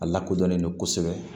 A lakodɔnnen don kosɛbɛ